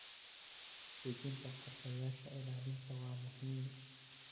Dejinta qorshayaasha ilaalinta waa muhiim.